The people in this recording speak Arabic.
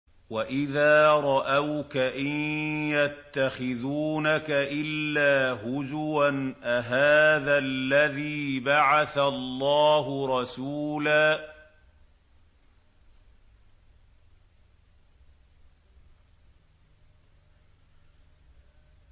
وَإِذَا رَأَوْكَ إِن يَتَّخِذُونَكَ إِلَّا هُزُوًا أَهَٰذَا الَّذِي بَعَثَ اللَّهُ رَسُولًا